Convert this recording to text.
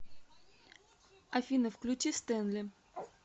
афина включи стэнли